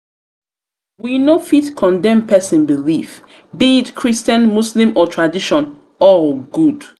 we no fit condemn pesin belief be pesin belief be it christian muslem or tradition all good.